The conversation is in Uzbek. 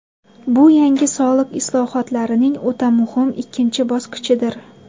Bu yangi soliq islohotlarining o‘ta muhim ikkinchi bosqichidir.